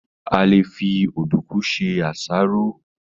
A lè fi Ọ̀dùnkún se àsáró